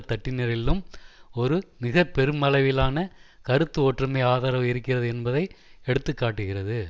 தட்டினரிலும் ஒரு மிகப்பெருமளவிலான கருத்து ஒற்றுமை ஆதரவு இருக்கிறது என்பதை எடுத்து காட்டுகிறது